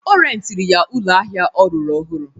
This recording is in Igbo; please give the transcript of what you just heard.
Ọ rentịrị ya ụlọ ahịa ọ rụrụ ọhụrụ.